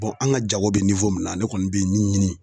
an ka jago bɛ min na ne kɔni bɛ min ɲini